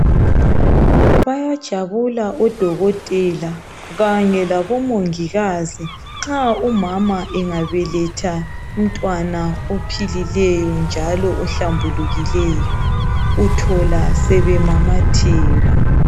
Bayajabula odokotela kanye labomongikazi nxa umama engabeletha umntwana ophilileyo njalo ohlambulukileyo, uthola sebemamatheka.